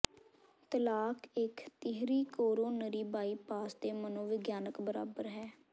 ਤਲਾਕ ਇੱਕ ਤੀਹਰੀ ਕੋਰੋਨਰੀ ਬਾਈਪਾਸ ਦੇ ਮਨੋਵਿਗਿਆਨਕ ਬਰਾਬਰ ਹੈ